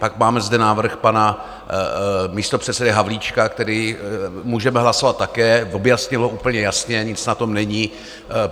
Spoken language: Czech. Pak máme zde návrh pana místopředsedy Havlíčka, který můžeme hlasovat také, objasnil ho úplně jasně, nic na tom není.